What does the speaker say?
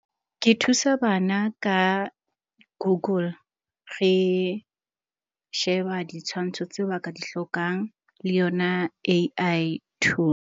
Ke thusa bana ka Google. Re sheba ditshwantsho tse ba ka di hlokang le yona A_I .